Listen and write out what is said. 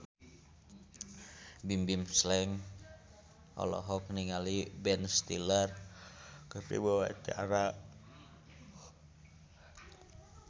Bimbim Slank olohok ningali Ben Stiller keur diwawancara